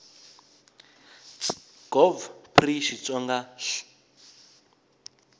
ts gov pri xitsonga hl